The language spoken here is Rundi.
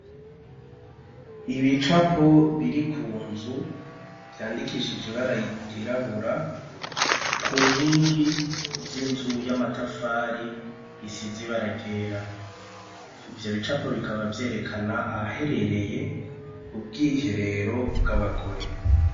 Ibicapo biri ku nzu vyandikishije ibara ryirabura ku nkingi z'inzu y'amatafari isize ibara ryera, ivyo bicapo bikaba vyerekana ahahereye ubwiherero bw'abagore.